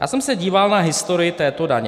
Já jsem se díval na historii této daně.